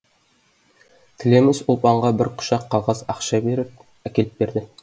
тілеміс ұлпанға бір құшақ қағаз ақша беріп әкеліп берді